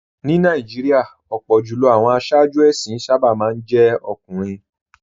Ní Nàìjíríà, ọ̀pọ̀ jù lọ àwọn aṣáájú ẹ̀sìn sábà máa ń jẹ́ ọkùnrin